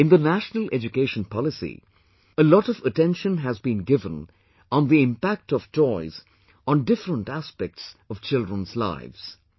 In the National Education Policy, a lot of attention has been given on the impact of toys on different aspects of children's lives